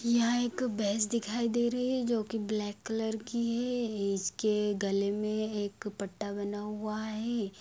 यहाँ एक भैंस दिखाई दे रही है जो की ब्लैक कलर की है इसके गले में एक पट्टा बंधा हुआ है।